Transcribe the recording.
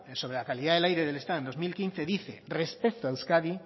sobre la calidad del aire del estado en dos mil quince dice respecto a euskadi